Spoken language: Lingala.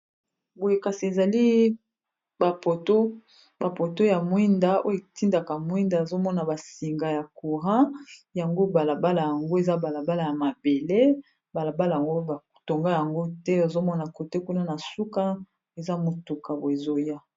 Boye kasi ezali ba poto , ba poto ya mwinda oyo etindaka mwinda ezomona basinga ya courant yango balabala yango eza balabala ya mabele, balabala yango batonga yango te ozomona kote kuna na suka eza motuka boye ezoya.